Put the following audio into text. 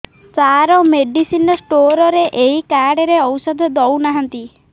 ସାର medicine store ରେ ଏଇ card ରେ ଔଷଧ ଦଉନାହାନ୍ତି